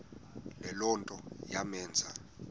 le nto yamenza